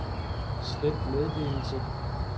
slet meddelelse